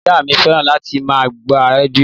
Ìyá mí fẹ́ràn láti má gbó rẹdìo